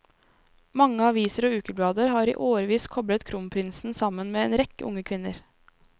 Mange aviser og ukeblader har i årevis koblet kronprinsen sammen med en rekke unge kvinner.